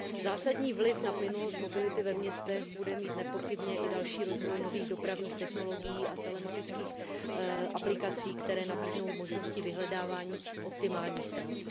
Zásadní vliv na plynulost mobility ve městech bude mít nepochybně i další rozvoj nových dopravních technologií a telematických aplikací, které nabídnou možnosti vyhledávání optimálních tras.